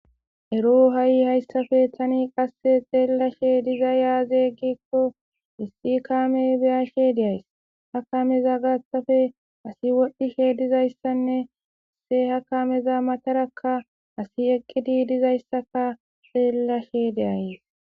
Ero hasi hassappe Tani qase xellashe dizay Aze giko kame beyashe deyays ha kameza gathappe ASI wodhishe dizayssanne he kameza matara ASI eqi dizayssa xellashe deyays